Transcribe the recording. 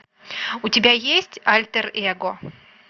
у тебя есть альтер эго